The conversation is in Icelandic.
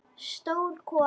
Stór kona.